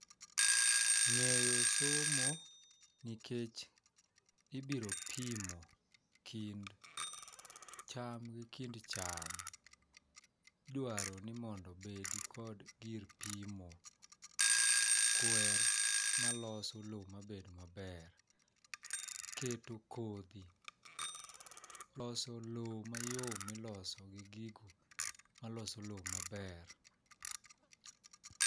Ng'eyo somo nikech ibiro pimo kind cham gi kind cham . Idwaro ni mondo obedgi gir pimo kwer maloso lowo mabed maber , keto kodhi loso lowo mayom miloso gi gigo maloso lowo maber